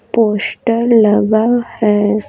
Poster लगा है।